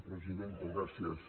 presidenta gràcies